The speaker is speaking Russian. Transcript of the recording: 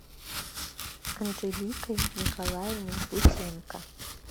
анжеликой николаевной бутенко